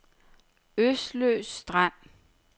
Øsløs Strand